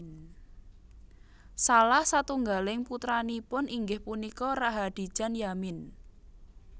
Salah satunggaling putranipun inggih punika Rahadijan Yamin